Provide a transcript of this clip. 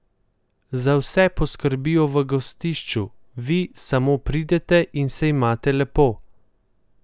Za vse poskrbijo v gostišču, vi samo pridete in se imate lepo.